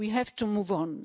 We have to move on.